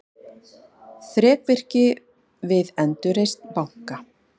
Þrekvirki við endurreisn banka